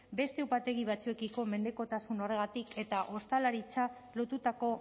beste upategi batzuekiko mendekotasun horregatik eta ostalaritza lotutako